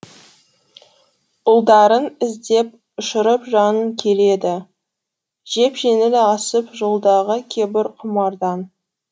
ұлдарын іздеп ұшырып жанын келеді жеп жеңіл асып жолдағы кебір құмардан